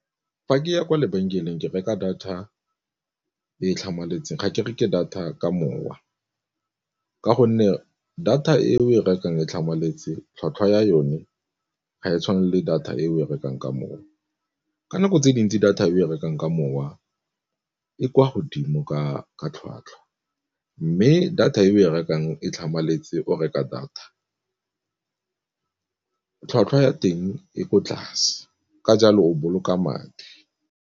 Fa ke ya kwa lebenkeleng ke reka data e e tlhamaletseng ga ke reke data ka mowa, ka gonne data e o e rekang e tlhamaletse tlhwatlhwa ya yone ga e tshwane le data e o e rekang ka mowa. Ka nako tse dintsi data e o e rekang ka mowa e kwa godimo ka tlhwatlhwa, mme data e o e rekang e tlhamaletse o reka data tlhwatlhwa ya teng e ko tlase ka jalo o boloka madi.